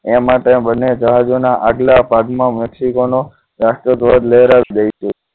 એ માટે બંને જહાજોના આગલા ભાગમાં મેક્સિકોનો રાષ્ટ્રધ્વજ લહેરાવી દઈશું